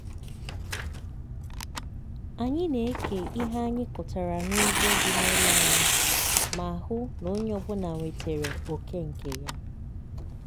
anyị na-eke ihe anyị kụtara n'ugbo dị n'ụlọ anyị ma hụ na onye ọbụla nwetere oké nke ya.